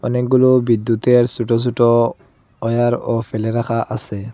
অনেকগুলো বিদ্যুতের সোটো সোটো ওয়ারও ফেলে রাখা আসে।